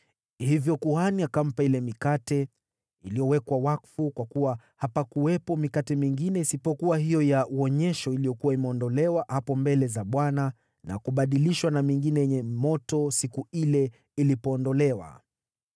Hivyo kuhani akampa ile mikate iliyowekwa wakfu, kwa kuwa hapakuwepo mikate mingine isipokuwa hiyo ya Wonyesho iliyokuwa imeondolewa hapo mbele za Bwana na kubadilishwa na mingine yenye moto siku ile ilipoondolewa.